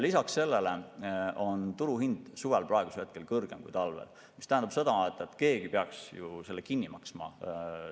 Lisaks sellele on turuhind tänavu suvel kõrgem kui talvel, mis tähendab seda, et keegi peaks selle kinni maksma.